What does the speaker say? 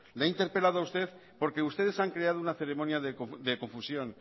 le interpelado a usted porque ustedes han creado una ceremonia de confusión